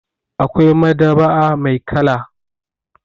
Akwai madab'a mai kala.